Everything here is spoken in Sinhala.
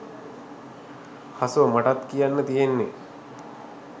හසෝ මටත් කියන්න තියෙන්නේ